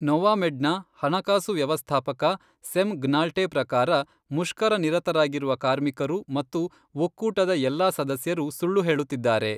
ನೊವಾಮೆಡ್ನ ಹಣಕಾಸು ವ್ಯವಸ್ಥಾಪಕ ಸೆಮ್ ಗ್ನಾಲ್ಟೆ ಪ್ರಕಾರ, ಮುಷ್ಕರನಿರತರಾಗಿರುವ ಕಾರ್ಮಿಕರು ಮತ್ತು ಒಕ್ಕೂಟದ ಎಲ್ಲಾ ಸದಸ್ಯರು ಸುಳ್ಳು ಹೇಳುತ್ತಿದ್ದಾರೆ.